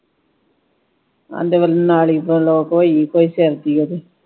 ਆਂਦੇ ਨਾਲੀ block ਹੋਈ ਕੋਈ ਸਿਰ ਦੀ ਓਹਦੇ।